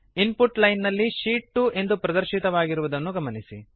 ಇನ್ ಪುಟ್ line ನಲ್ಲಿ sheet 2 ಎಂದು ಪ್ರದರ್ಶಿತವಾಗಿರುವುದನ್ನು ಗಮನಿಸಿ